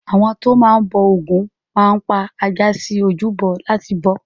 Àwọn tó ń bọ Ògún máa ń pa ajá sí ojúbọ láti bọ ọ́.